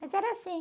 Mas era assim.